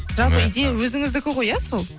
жалпы идея өзіңіздікі ғой иә сол